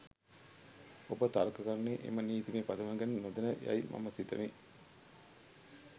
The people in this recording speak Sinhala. ඔබ තර්ක කරන්නේ එම නීතිමය පදනම ගැන නොදැන යයි මම සිතමි.